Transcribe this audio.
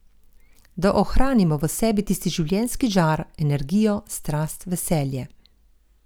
Da ohranimo v sebi tisti življenjski žar, energijo, strast, veselje.